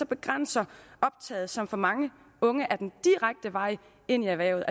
begrænser optaget som for mange unge er den direkte vej ind i erhvervet